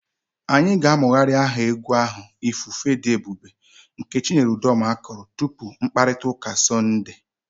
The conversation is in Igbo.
Anyị ga na-amụgharị aha egwu ahụ 'ifufe dị ebube' nke Chinyere Udoma kụrụ tupu mkpakọrịta ụka Sọnde.